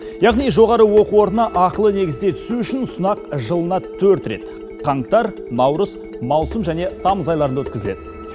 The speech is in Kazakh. яғни жоғары оқу орнына ақылы негізде түсу үшін сынақ жылына төрт рет қаңтар наурыз маусым және тамыз айларында өткізіледі